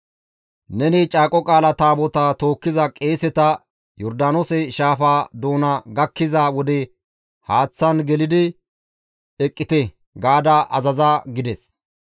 Neni Caaqo Qaala Taabotaa tookkiza qeeseta, ‹Yordaanoose shaafa doona gakkiza wode haaththan gelidi eqqite› gaada azaza» gides.